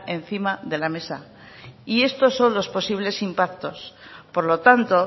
encima de la mesa y estos son los posibles impactos por lo tanto